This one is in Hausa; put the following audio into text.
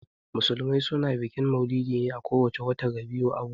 Musulmai suna bikin maulidi a ko wace watan Rabi'ul Auwal.